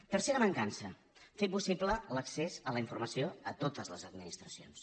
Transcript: tercera mancança fer possible l’accés a la informació a totes les administracions